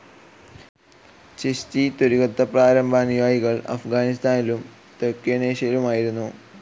ഛിസ്ഛി ത്വരിഖത്തി പ്രാരംഭ അനുയായികൾ അഫ്ഗാനിസ്ഥാനിലും തെക്കനേഷ്യയിലുമായിരുന്നു.